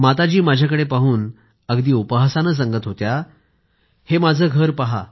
माताजी माझ्याकडं पाहून अगदी उपहासानं सांगत होत्या हे माझं घर पहा